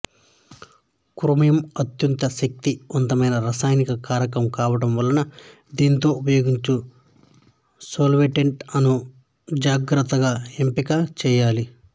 chromium అత్యంత శక్తి వంతమైన రసాయన కారకం కావడం వలన దీనితో ఉపయోగించు సాల్వెంట్ లను జాగ్రత్తగా ఎంపిక చెయ్యాలి